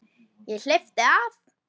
Ég hleypti af.